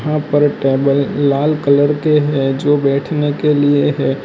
यहा पर एक टेबल लाल कलर के हैं जो बैठने के लिए है।